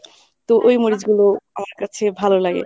তো ওই মরিচগুলো আমার কাছে ভালো লাগে ।